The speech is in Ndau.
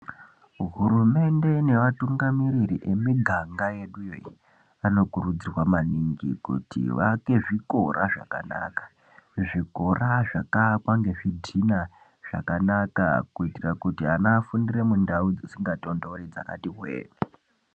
Hurumende neatungamiriri emiganga yedu anokurudzirwa maningi kuti vaake zvikora zvakanaka. Zvikora zvakaakwa ngezvidhina zvakanaka kuitira kuti ana afundire mundau dzisingatonhori dzakati hwee.